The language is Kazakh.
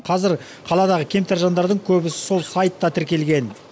қазір қаладағы кемтар жандардың көбісі сол сайтқа тіркелген